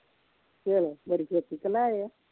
ਚਲੋ ਬੜੇ ਛੇਤੀ ਕਲਾਏ ਆ।